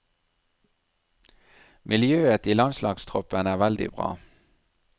Miljøet i landslagstroppen er veldig bra.